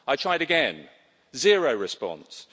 I tried again zero response.